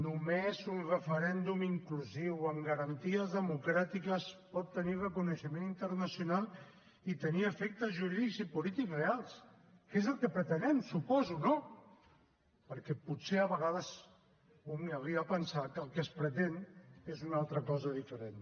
només un referèndum inclusiu amb garanties democràtiques pot tenir reconeixement internacional i tenir efectes jurídics i polítics reals que és el que pretenem suposo no perquè potser a vegades un arriba a pensar que el que es pretén és una altra cosa diferent